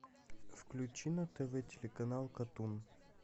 включи на тв телеканал катун